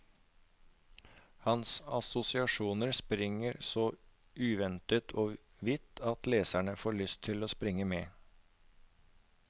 Hans assosiasjoner springer så uventet og vidt at leseren får lyst til å springe med.